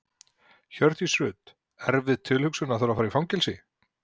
Hjördís Rut: Erfið tilhugsun að þurfa að fara í fangelsi?